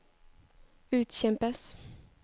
utkjempes